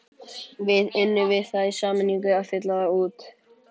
Við unnum við það í sameiningu að fylla þá út.